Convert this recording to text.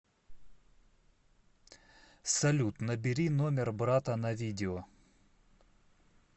салют набери номер брата на видео